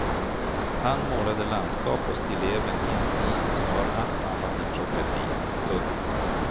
Han målade landskap och stilleben i en stil som var allt annat än progressiv. punkt